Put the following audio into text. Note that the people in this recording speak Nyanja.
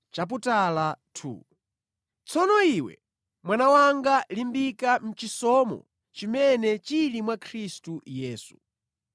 Tsono iwe, mwana wanga, limbika mʼchisomo chimene chili mwa Khristu Yesu.